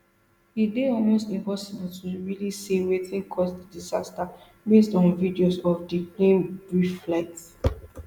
e dey almost impossible to really say wetin cause di disaster based on videos of di plane brief flight